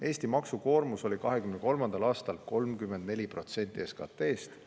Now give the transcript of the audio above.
Eesti maksukoormus oli 2023. aastal 34% SKT-st.